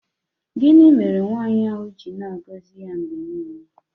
Gịnị mere nwaanyị ahụ ji na-agọzi ya mgbe niile?